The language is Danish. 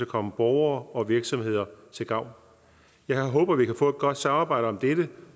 komme borgere og virksomheder til gavn jeg håber vi kan få et godt samarbejde om dette